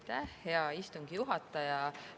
Aitäh, hea istungi juhataja!